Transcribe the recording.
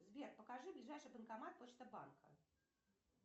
сбер покажи ближайший банкомат почта банка